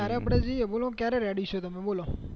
ત્યારે આપડે જઈએ બોલે ક્યારે ready છો તમે બોલો